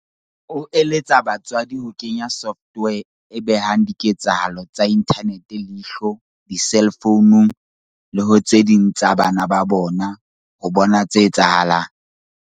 O eletsa batswadi ho kenya software e behang diketsahalo tsa inthanete leihlo diselfounung le ho tse ding tsa bana ba bona ho bona tse etsahalang.